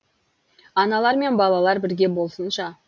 аналар мен балалар бірге болсыншы